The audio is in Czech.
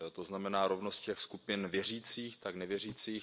To znamená rovnosti jak skupin věřících, tak nevěřících.